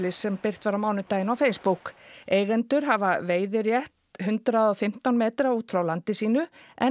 sem birt var á mánudaginn á Facebook eigendur hafa veiðirétt hundrað og fimmtán metra út frá landi sínu